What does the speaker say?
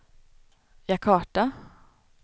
Jakarta